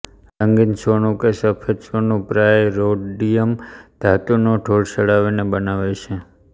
રંગીન સોનું કે સફેદ સોનું પ્રાયઃ રોડિયમ ધાતુનો ઢોળ ચડાવીને બનાવાય છે